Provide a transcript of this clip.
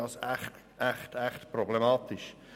Das finde ich echt problematisch.